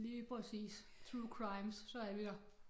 Lige præcis True crimes så er vi der